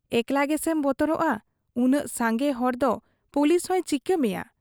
ᱮᱠᱞᱟ ᱜᱮᱥᱮᱢ ᱵᱚᱛᱚᱨᱚᱜ ᱟ ᱾ ᱩᱱᱟᱹᱜ ᱥᱟᱝᱜᱮ ᱦᱚᱲᱫᱚ ᱯᱩᱞᱤᱥᱦᱚᱸᱭ ᱪᱤᱠᱟᱹ ᱢᱮᱭᱟ ᱾